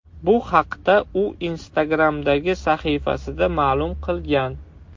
Bu haqda u Instagram’dagi sahifasida ma’lum qilgan .